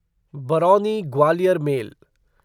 Barauni Gwalior mail